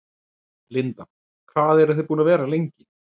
Linda: Hvað eruð þið búnir að vera lengi?